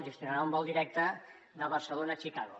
gestionarà un vol directe de barcelona a chicago